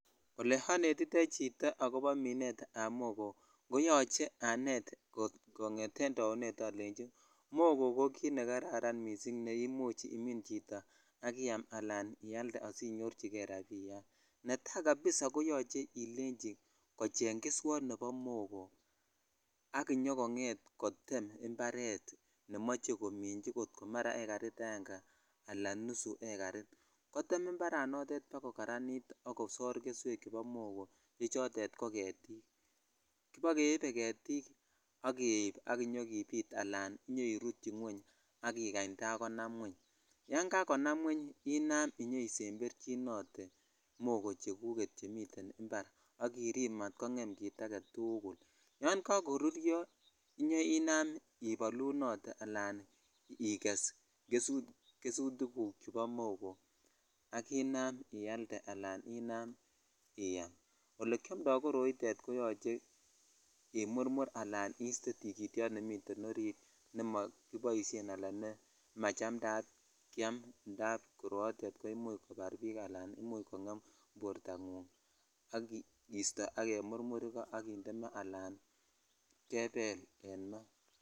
Ole onetitoi chito akobo minet ab mogoo koyoche anet konyeten taunet alei mogoo kit nekaran missing ne imuch imin chito ak iyam ala ialde sinyichikei rabinik netai kabisa koyoche kecheng keswot nebo mogoo ak inyo konget kotem imparet nemoche komich kot ko mara egarit aenge ala nusu egaritkotem imaranotet bakokaranit ak kosore keswek chebo mogoo che chotet ko getik kibokebe getij ak keib ala kinyokibit ak kerutyi ngweng ak ikach tagonam ngweng yan jakonam ngweng inyoinam inyoemsemberinote mogo cheguket chemiten impar ak irip matkongem kit agetukulvyo kaloruryo inam ibolunote ala iges gesutik fuk chebo mogooak inam ialde ala inam iyam olekiomti koroi koyoche imurmur ak istee tingityot nemiten oritnemo koboishen ala nemachamdaat kiam indap umuch kobar bik al kongem bortangung ak kisto ak kemurmur iko ala kebel en maa.